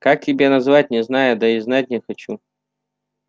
как тебя назвать не знаю да и знать не хочу